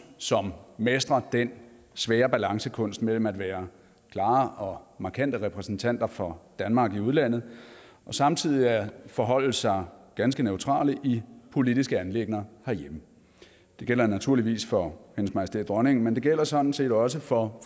som mestrer den svære balancekunst mellem at være klare og markante repræsentanter for danmark i udlandet og samtidig forholde sig ganske neutrale i politiske anliggender herhjemme det gælder naturligvis for hendes majestæt dronningen men det gælder sådan set også for